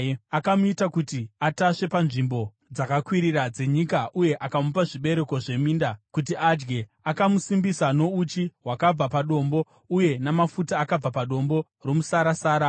Akamuita kuti atasve panzvimbo dzakakwirira dzenyika uye akamupa zvibereko zveminda kuti adye. Akamusimbisa nouchi hwakabva padombo, uye namafuta akabva padombo romusarasara,